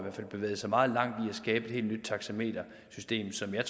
bevægede sig meget langt at skabe et helt nyt taxametersystem som jeg